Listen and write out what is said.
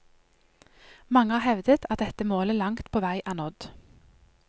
Mange har hevdet at dette målet langt på vei er nådd.